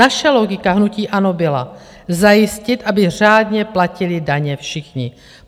Naše logika hnutí ANO byla zajistit, aby daně platili řádně všichni.